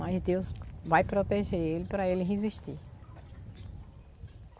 Mas Deus vai proteger ele para ele resistir.